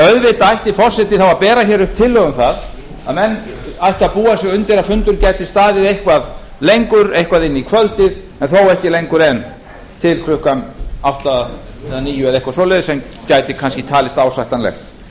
auðvitað ætti forseti þá að bera upp tillögu um að menn ættu að búa sig undir að fundur gæti staðið eitthvað lengur eitthvað inn í kvöldið en þó ekki lengur en til klukkan átta eða níu eitthvað svoleiðis sem gæti kannski talist ásættanlegt svona